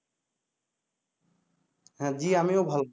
হ্যা জি আমিও ভালো।